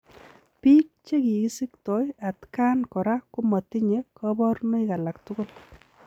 Piik chekikisiktoi atkaan koraa komatinye kabarunoik alaak tugul.